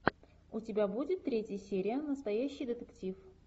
у тебя будет третья серия настоящий детектив